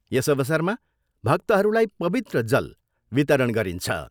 यस अवसरमा भक्तहरूलाई पवित्र जल वितरण गरिन्छ।